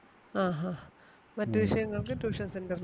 ആ ഹാ മറ്റു വിഷയങ്ങൾക്ക് tuition center ൽ